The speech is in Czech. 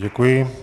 Děkuji.